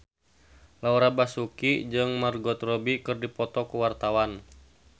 Laura Basuki jeung Margot Robbie keur dipoto ku wartawan